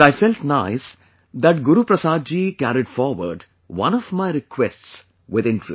But I felt nice that Guru Prasad ji carried forward one of my requests with interest